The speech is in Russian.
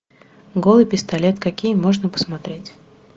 голый пистолет какие можно посмотреть